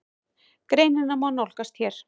Greinina má nálgast hér.